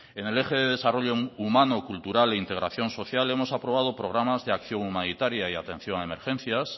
en el eje de desarrollo humano cultural e integración social hemos aprobado programas de acción humanitaria y atención a emergencias